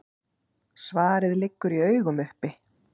Svarið liggur í augum uppi.